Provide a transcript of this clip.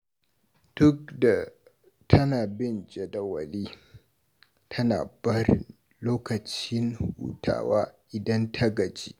Duk da tana bin jadawali, tana barin lokacin hutawa idan ta gaji.